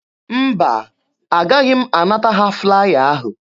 Mba, agaghị m anata ha flaya ahụ.